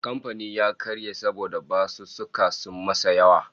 Kamfanin ya karye saboda basussuka sun masa yawa